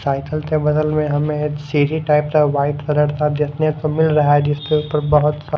cycle के बगल में हमें सीढ़ी टाइप का वाइट कलर का देखने को मिल रहा है जिसके ऊपर बहुत सा--